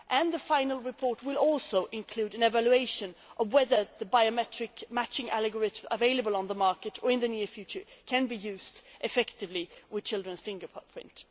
The final report will also include an evaluation of whether the biometric matching algorithms available on the market now or in the near future can be used effectively with children's fingerprints.